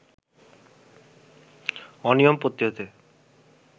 অনিয়ম প্রতিরোধে